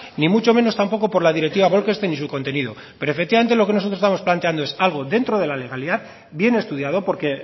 ni mucho menos tampoco por la directiva bolkestein y su contenido pero efectivamente lo que nosotros estamos planteando es algo dentro de la legalidad bien estudiado porque